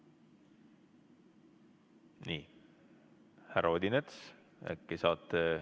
Nii, härra Odinets, äkki saate ...